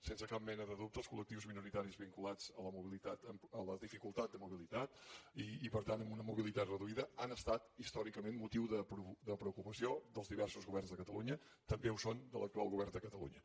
sense cap mena de dubte els col·lectius minoritaris vinculats a la dificultat de mobilitat i per tant amb una mobilitat reduïda han estat històricament motiu de preocupació dels diversos governs de catalunya i també ho són de l’actual govern de catalunya